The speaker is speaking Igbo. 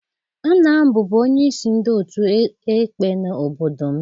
Nna m bụbu onye isi ndị otu ekpe n'obodo m.